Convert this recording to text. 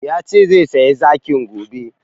Yace zai saya zakin gobe